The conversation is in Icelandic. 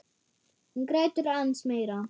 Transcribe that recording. Hún grætur aðeins meira.